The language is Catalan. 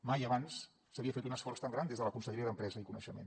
mai abans s’havia fet un esforç tan gran des de la conselleria d’empresa i coneixement